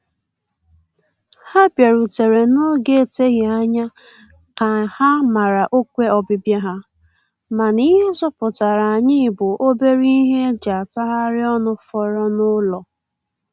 Ha bịarutere n'oge eteghị anya ka ha mara ọkwe ọbịbịa ha, mana ihe zọpụtara anyị bụ obere ihe e ji atagharị ọnụ fọrọ n'ụlọ